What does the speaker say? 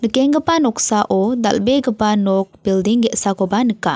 noksao dal·begipa nok bilding ge·sakoba nika.